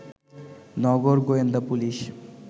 নগর গোয়েন্দা পুলিশ